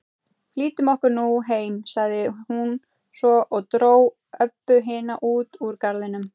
Flýtum okkur nú heim, sagði hún svo og dró Öbbu hina út úr garðinum.